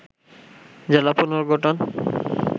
জেলা পুনর্গঠন